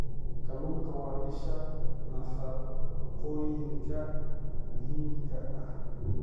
Kalluunku waa isha nafaqooyinka muhiimka ah.